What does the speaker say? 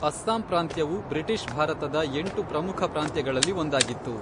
ಅಸ್ಸಾಂ ಪ್ರಾಂತ್ಯವು ಬ್ರಿಟಿಷ್ ಭಾರತದ ಎಂಟು ಪ್ರಮುಖ ಪ್ರಾಂತ್ಯಗಳಲ್ಲಿ ಒಂದಾಗಿತ್ತು.